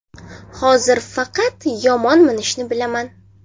Hozir faqat yomon minishni bilaman.